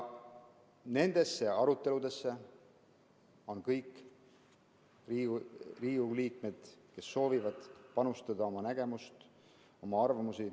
Nendesse aruteludesse on oodatud kõik Riigikogu liikmed, kes soovivad panustada oma nägemust ja oma arvamusi.